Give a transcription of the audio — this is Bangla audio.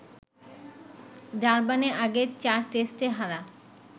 ডারবানে আগের চার টেস্টে হারা